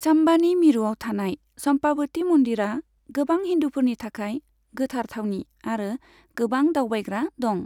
चाम्बानि मिरुआव थानाय चम्पाबति मन्दिरा, गोबां हिन्दुफोरनि थाखाय गोथार थावनि आरो गोबां दावबायग्रा दं।